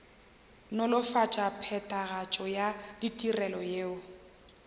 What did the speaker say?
nolofatša phethagatšo ya ditirelo yeo